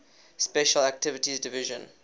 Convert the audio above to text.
special activities division